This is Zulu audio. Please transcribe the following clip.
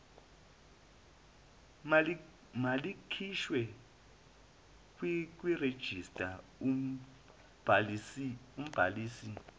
malikhishwe kwirejista umbhalisi